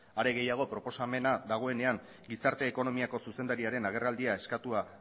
are gehiago proposamena dagoenean gizarte ekonomiako zuzendariaren agerraldia eskatua